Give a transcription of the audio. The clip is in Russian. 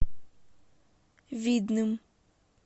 видным